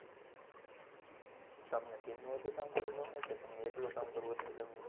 તમને team માં વધુ કામ કરવું ગમે કે તમને એકલું કામ કરવું વધારે ગમે